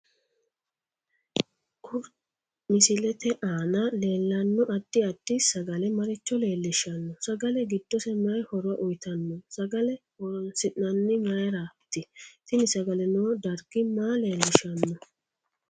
Kuri misilete aana leelanno addi addi sagale maricho leelishanno sagale giddose mayii horo uyiitanno sagale horoonsinanihu mayiirati tini sagale noo darggi maa leelishanno